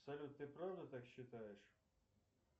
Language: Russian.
салют ты правда так считаешь